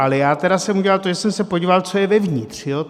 Ale já tedy jsem udělal to, že jsem se podíval, co je vevnitř.